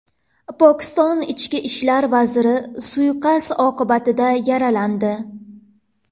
Pokiston ichki ishlar vaziri suiqasd oqibatida yaralandi.